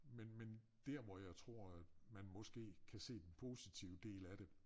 Men men dér hvor jeg tror at man måske kan se den positive del af det